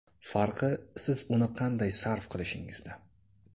Farqi, siz uni qanday sarf qilishingizda.